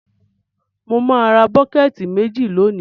Mo má ra bucket méjì lónìí